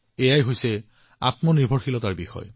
এয়া আত্মনিৰ্ভৰশীলতাৰ বিষয়